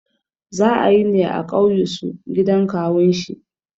Za ayine a ƙauyusu gidan kawun shi